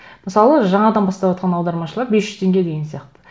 мысалы жаңадан баставатқан аудармашылар бес жүз теңге деген сияқты